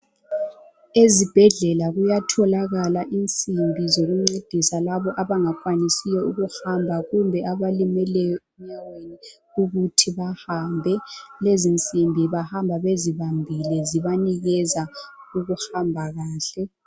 Ezibhedlela kuyatholakala insimbi zokoncedisa labo abangakwanisiyo ukuhamba kumbe abalimeleyo enyaweni ukuthi bahambe. Lezi nsimbi bahamba bezibambile zibanikeza ukuhamba kahle.